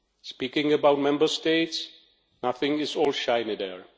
Speaking about Member States, nothing is all shiny there.